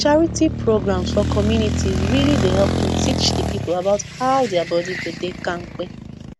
charity programs for community really dey help to teach the people about how their body go dey kampe